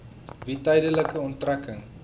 wie tydelike onttrekking